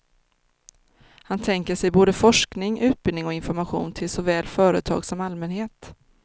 Han tänker sig både forskning, utbildning och information till såväl företag som allmänhet.